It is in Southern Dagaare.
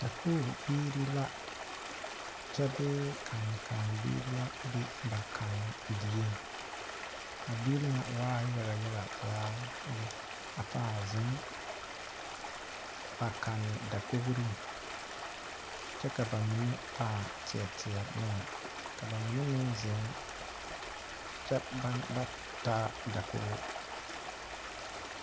Saku bibiiri la kyɛ bee kane kane bibiiri la be ba kankan die poɔ,a biiri ŋa waa yaga yaga zaa lɛ a paa zeŋ ba kane dakogri kyɛ ka ba mine paa tiɛtiɛ noɛ kyɛ ba mine meŋ zeŋ kyɛ ba na ba taa dakogi.